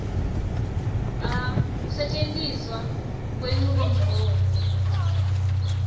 a kusetjentiswa kwenchubomgomo